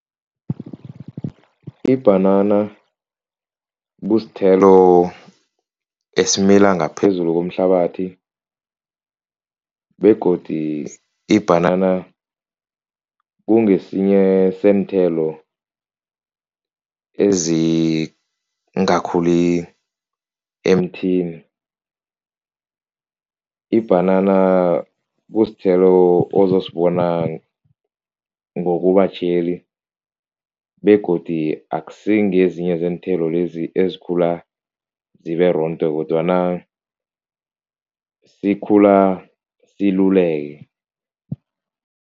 Ibhanana kusithelo esimila ngaphezulu komhlabathi begodi ibhanana kungesinye seenthelo ezingakhuli emthini, ibhanana kusithelo ozosibona ngokubatjheli begodi akusingezinye zeenthelo lezi ezikhula zibe rondo kodwana sikhula siluleke.